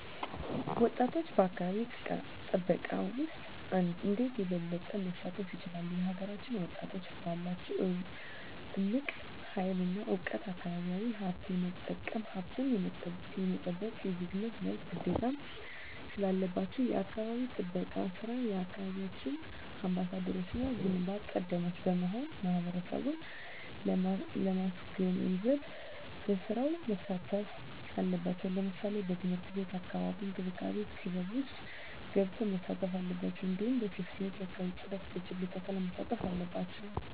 ወጣቶች በአካባቢ ጥበቃ ውስጥ እንዴት የበለጠ መሳተፍ ይችላሉ? የሀገራችንን ወጣቶች ባላቸው እምቅ ሀይል እና እውቀት አካባቢያዊ ሀብቶች የመጠቀምም ሀብቱን የመጠበቅም የዜግነት መብትና ግዴታም ስላለባችሁ የአካባቢ ጥበቃ ስራ የየአካባቢያችሁ አምባሳደሮችና ግንባር ቀደሞች በመሆን ማህበረሰቡን ማስገንዘብ በስራው መሳተፍ አለባቸው ለምሳሌ በትምህርት ቤት የአካባቢ እንክብካቤ ክበብ ውስጥ ገብተው መሳተፍ አለባቸው እንዲሁም በሴፍትኔት የአካባቢ ፅዳት በችግኝ ተከላ መሳተፍ አለባቸው